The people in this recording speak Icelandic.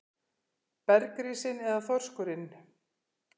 Bergrisinn eða þorskurinn?